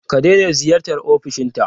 Ka daina ziyartar ofishinta!